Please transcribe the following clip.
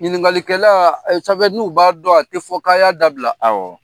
Ɲininkakalikɛla safɛ n'u b'a dɔn a tɛ fɔ k'a y'a dabila awɔ